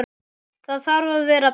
Það þarf að vera beint.